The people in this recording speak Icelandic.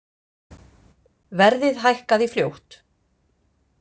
Verðið hækkaði fljótt.